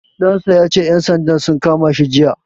Ɗan sa ya ce ƴan sandan sun kama shi jiya.